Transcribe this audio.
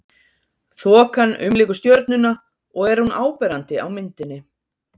Þokan umlykur stjörnuna og er hún áberandi á myndinni.